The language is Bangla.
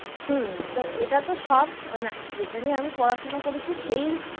হম এটা তো সব মানে যেটা নিয়ে আমি পড়াশোনা করেছি, সেই